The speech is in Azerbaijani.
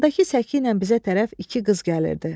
Qarşıdakı səkiylə bizə tərəf iki qız gəlirdi.